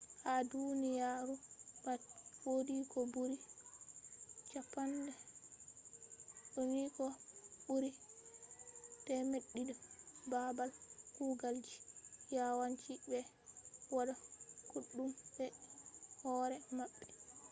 ha duniya ru pat wodi ko buri 200 babal kugal ji. yawan ci be wada kodume be hore mabbe